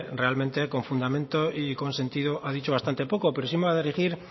realmente con fundamento y con sentido ha dicho bastante poco pero sí me voy a dirigir